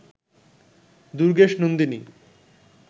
Durgeshnandini